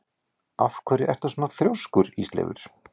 Af hverju ertu svona þrjóskur, Ísleifur?